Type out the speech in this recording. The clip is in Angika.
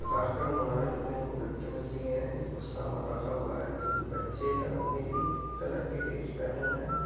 यहां कार्यक्रम हो रहा है जो कि इनको गिफ्ट मिलती है कुछ सामान रखा हुआ है जो कि बच्चे नीले कलर की ड्रेस पहने हुए है ।